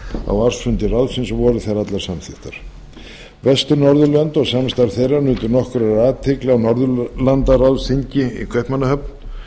á ársfundi ráðsins og voru þær allar samþykktar vestur norðurlönd og samstarf þeirra nutu nokkurra athygli á norðurlandaráðsþingi í kaupmannahöfn